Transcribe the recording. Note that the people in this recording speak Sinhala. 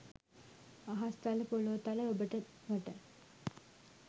අහස් තල පොලෝ තල ඔබට මට